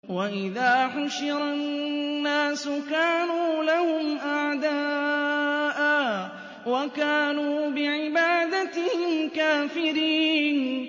وَإِذَا حُشِرَ النَّاسُ كَانُوا لَهُمْ أَعْدَاءً وَكَانُوا بِعِبَادَتِهِمْ كَافِرِينَ